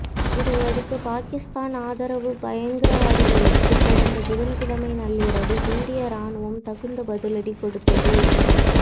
இதையடுத்து பாகிஸ்தான் ஆதரவு பயங்கரவாதிகளுக்கு கடந்த புதன்கிழமை நள்ளிரவு இந்திய ராணுவம் தகுந்த பதிலடி கொடுத்தது